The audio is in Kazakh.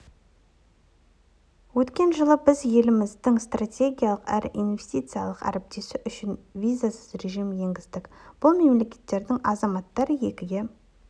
өткен жылы біз еліміздің стратегиялық әрі инвестициялық әріптесі үшін визасыз режім енгіздік бұл мемлекеттердің азаматтары екі